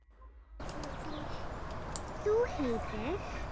Þú heitir?